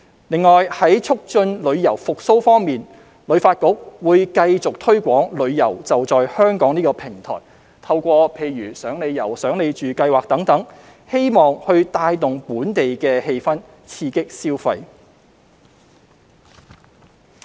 另外，在促進旅遊復蘇方面，香港旅遊發展局會繼續推廣"旅遊.就在香港"這個平台，透過"賞你遊香港"、"賞你住"等計劃，希望帶動本地氣氛，刺激消費。